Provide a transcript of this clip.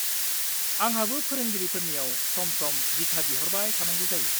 आंहाबो फोरोंगिरिफोरनियाव सम-सम दिथा बिहरबाय थांनांगौ जायो।